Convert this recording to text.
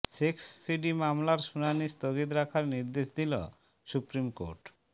sex CD মামলার শুনানি স্থগিত রাখার নির্দেশ দিল সুপ্রিম কোর্ট